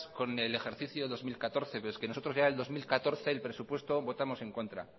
con el ejercicio dos mil catorce pero es que nosotros ya en el dos mil catorce el presupuesto votamos en contra